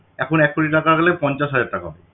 এখন এক কোটি টাকা হলে পঞ্চাশ হাজার টাকাও হয়না